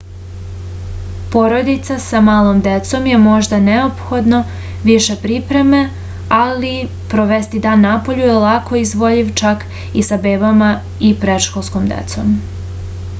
porodicama sa malom decom je možda neophodno više pripreme ali provesti dan napolju je lako izvodljiv čak i sa bebama i predškolskom decom